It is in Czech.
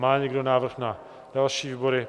Má někdo návrh na další výbory?